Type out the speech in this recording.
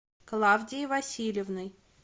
клавдией васильевной